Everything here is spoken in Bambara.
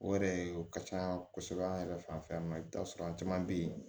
O yɛrɛ o ka can kosɛbɛ an yɛrɛ fanfɛ i bi taa sɔrɔ an caman be yen